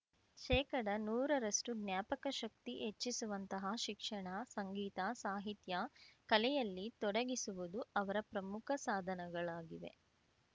ಶೇಕಡನೂರರಷ್ಟುಜ್ಞಾಪಕ ಶಕ್ತಿ ಹೆಚ್ಚಿಸುವಂತಹ ಶಿಕ್ಷಣ ಸಂಗೀತ ಸಾಹಿತ್ಯ ಕಲೆಯಲ್ಲಿ ತೊಡಗಿಸುವುದು ಅವರ ಪ್ರಮುಖ ಸಾಧನಗಳಾಗಿವೆ